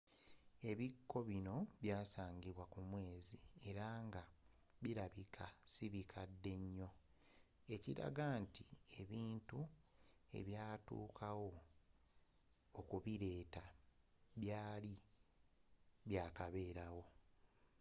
ebikko bino byasagimbwa ku mwezi era nga bilabika sibikadde nyo ekiraga nti ebintu ebyatuukawo okubileeta byali bya kaberaawo